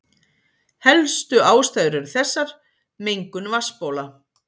Helstu ástæður eru þessar: Mengun vatnsbóla.